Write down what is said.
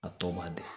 A tɔ man di